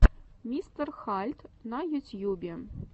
мистер хальд на ютьюбе